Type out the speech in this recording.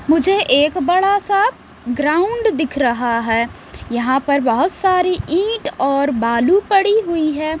मुझे एक बड़ा सा ग्राउंड दिख रहा है यहां पर बहोत सारी इट और बालू पड़ी हुई है।